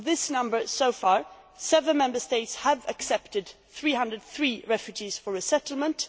Of this number so far, seven Member States have accepted 303 refugees for resettlement